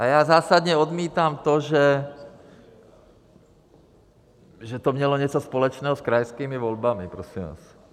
A já zásadně odmítám to, že to mělo něco společného s krajskými volbami, prosím vás.